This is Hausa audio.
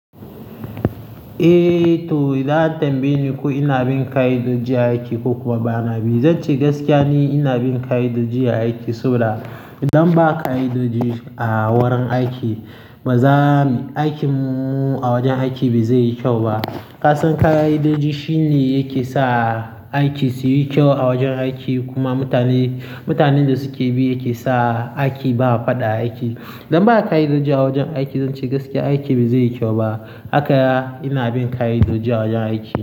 Eh to, idan an tambaye ni ko ina bin ka'idoji aiki ko kuma ba na bi. Zan ce gaskiya ni ina bin ka'idoji a aiki, saboda idan ba ka'idoji a wurin aiki baza mi-- aikinmu a wajen aiki ba zai yi kyau ba. Ka san ka'idoji shine yake sa aiki suyi kyau a wajen aiki kuma mutane, mutanen da suke bi yake sa aiki ba fada a aiki. Idan ba ka'idoji a wajen aiki, zanci gaskiya, aiki ba zai yi kyau ba. Haka ya ina bin ka'idoji a wajen aiki.